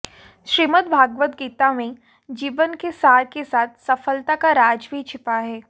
श्रीमद्भागवत गीता में जीवन के सार के साथ सफलता का राज भी छिपा है